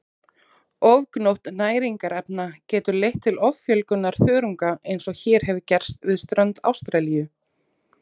Ofgnótt næringarefna getur leitt til offjölgunar þörunga eins og hér hefur gerst við strönd Ástralíu.